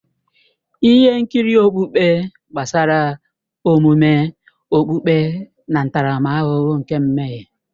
Ihe nkiri okpukpe gbasara omume okpukpe na ntaramahụhụ nke mmehie.